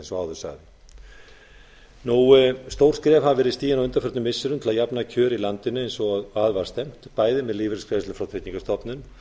eins og áður sagði stór skref hafa verið stigin á undanförnum missirum til að jafna kjör í landinu eins og að var stefnt með lífeyrisgreiðslum frá tryggingastofnun